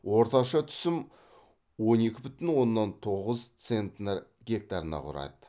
орташа түсім он екі бүтін оннан тоғыз центнер гектарына құрады